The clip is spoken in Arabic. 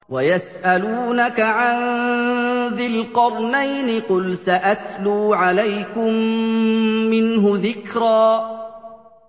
وَيَسْأَلُونَكَ عَن ذِي الْقَرْنَيْنِ ۖ قُلْ سَأَتْلُو عَلَيْكُم مِّنْهُ ذِكْرًا